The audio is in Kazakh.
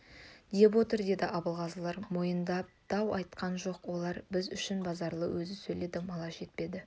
деп отыр деді абылғазылар мойындап дау айтқан жоқ бірақ олар үшін базаралы өзі сөйледі мала жетпеді